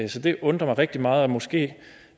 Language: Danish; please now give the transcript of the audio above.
det undrer mig rigtig meget måske